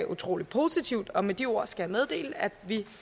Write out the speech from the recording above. utrolig positivt og med de ord skal jeg meddele at vi